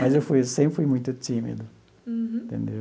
Mas eu fui sempre fui muito tímido. Uhum. Entendeu?